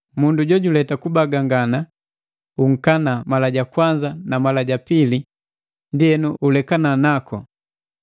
Mundu jojuleta kubagangana unkana mala ja kwanza na mala ja pili ndienu ulekana naku,